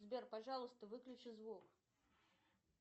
сбер пожалуйста выключи звук